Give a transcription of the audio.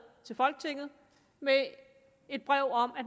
til folketinget med et brev om at